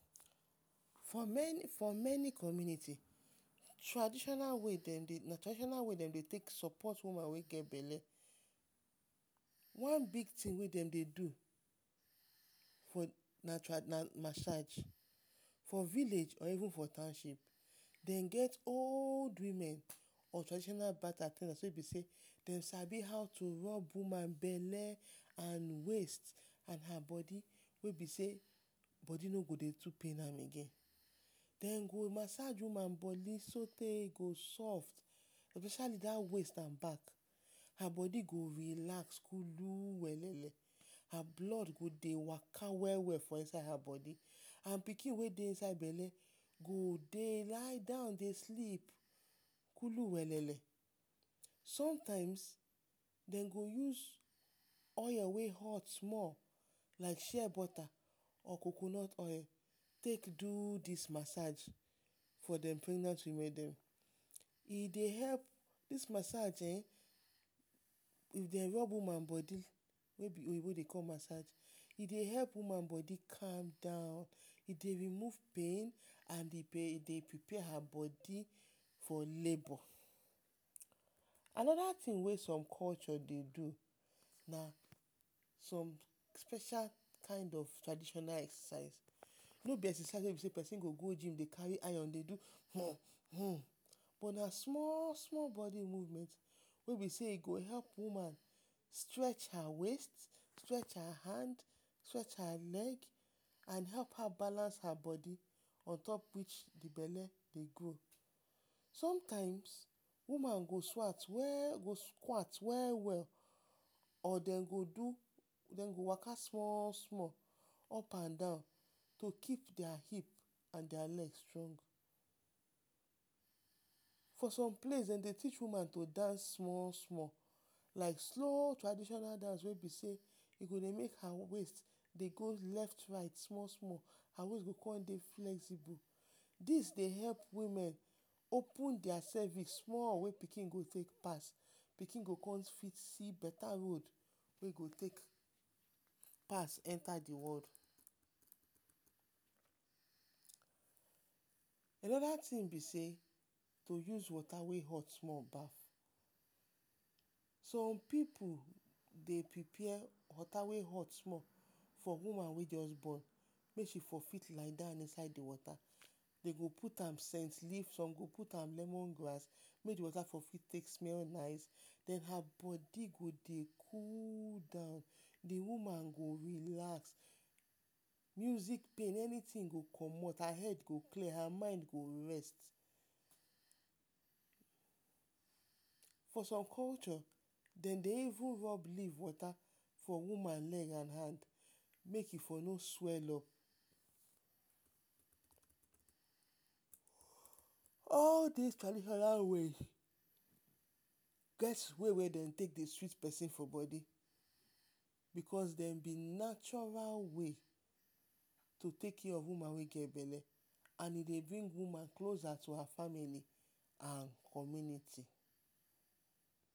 For men for many community traditional way dem dey traditional way dem dey take support woman wey get belle. One big tin wey dem dey do na na masaj, for village or for township, dem get old wimen of traditional birth at ten dance wey be sey dem sabi how to rob woman belle and waist and her bodi wey be sey bodi no go dey too pain am again. Dem go masaj woman bodi so the e go soft, especially dat waist and back, her bodi go relax kulu wele-le, blood go dey waka we-we for inside her bodi and pikin wey dey inside bele go dey lie down dey sleep kulu wele-le, sometimes dem go use oil wey hot small like share bota or coconut oil take do dis masaj for dem e dey help, dis masaj ehn, if dey rob woman bodi wey oyinbo dey call masaj, e dey help woman bodi calm down, e dey remove pain and e dey prepare her bodi for labor. Anoda tin wey som culture dey do na som special kind of traditional exercise, no be exercise wey pesin go go jim dey kari iron dey do um but na small-small bodi move wey be sey e go help woman stretch her waist, stretch her hand, stretch her leg and help her balance her bodi on top which the belle dey grow. Sometimes, woman go swat go squat we-we, or dem go do or dem go waka small-small up and down to keep dia hip and dia leg strong. For som place dem dey teach woman to dance small-small like slow traditional medicine wey be sey e go dey make her waist dey go left right small-small her waist go come dey flexible, dis dey help women open dia pelvic small wey pikin go take pass, pikin go come fit see beta road wey e go take pass enta the world. Anoda tin be sey you go use wota wey hot small, som pipu dey prepare wota wey hot small for woman wey just born may she for fit liedown for inside the wota, dem go put am cent leaf som go put am lemon grass wey go fit take smell nice and her bodi go dey cool down, the woman go relax, music pain anytin go comot, her head go clear, her mind go rest. For some culture dem dey even rob leaf wota for woman legand hand mey e fo no swell up. All dis traditional way get the way wey dem dey take sweet for bodi because dem be natural way to take care of woman wey get belle and e dey bring woman closer to her family and community.